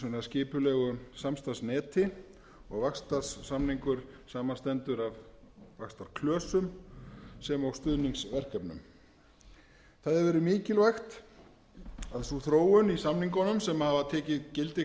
fleira í skipulegu samstarfsneti og vaxtarsamningur samanstendur af vaxtarklösum sem og stuðningsverkefnum það hefur verið mikilvægt að sú þróun í samningunum sem hafa tekið gildi